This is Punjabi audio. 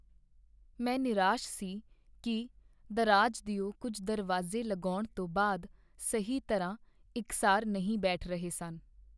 ਮੈਂ ਨਿਰਾਸ਼ ਸੀ ਕੀ ਦਰਾਜ ਦਿਓ ਕੁੱਝ ਦਰਵਾਜ਼ੇ ਲਗਾਉਣ ਤੋਂ ਬਾਅਦ ਸਹੀ ਤਰ੍ਹਾਂ ਇਕਸਾਰ ਨਹੀਂ ਬੈਠ ਰਹੇ ਸਨ।